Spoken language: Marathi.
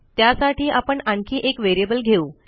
त्यासाठी आपण आणखी एक व्हेरिएबल घेऊ